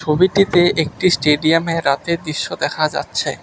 ছবিটিতে একটি স্টেডিয়ামে রাতের দৃশ্য দেখা যাচ্ছে।